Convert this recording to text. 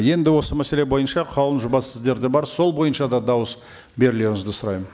енді осы мәселе бойынша қаулының жобасы сіздерде бар сол бойынша да дауыс берулеріңізді сұраймын